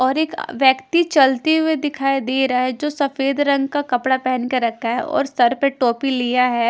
और अ एक व्यक्ति चलते हुए दिखाई दे रहा है जो सफेद रंग का कपड़ा पहन के रखा है और सर पर टोपी लिया है।